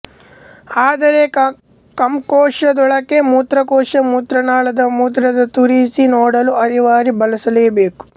ಆದರೆ ಕಂಕೋಶದೊಳಕ್ಕೆ ಮೂತ್ರಕೋಶ ಮೂತ್ರನಾಳದ ಮೂಲಕ ತೂರಿಸಿ ನೋಡಲು ಅರಿವಳಿ ಬಳಸಲೇಬೇಕು